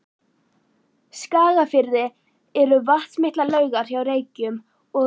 Skagafirði eru vatnsmiklar laugar hjá Reykjum og